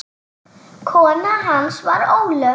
Kona hans var Ólöf